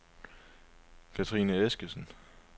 Kathrine Eskesen